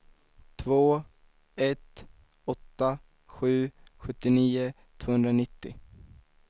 två ett åtta sju sjuttionio tvåhundranittio